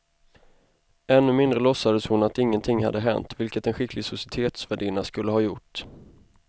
Ännu mindre låtsades hon att ingenting hade hänt, vilket en skicklig societetsvärdinna skulle ha gjort.